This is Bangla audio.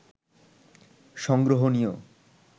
সংগ্রহণীয়